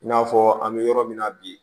I n'a fɔ an bɛ yɔrɔ min na bi